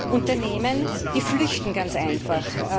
Unternehmen flüchten ganz einfach.